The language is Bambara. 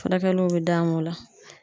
Furakɛliw bɛ d'a ma o la.